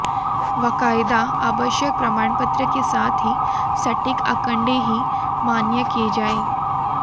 बाकायदा आवश्यक प्रमाणपत्र के साथ ही सटीक आंकड़े ही मान्य किए जायें